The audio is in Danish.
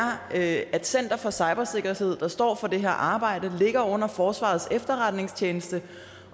at center for cybersikkerhed der står for det her arbejde ligger under forsvarets efterretningstjeneste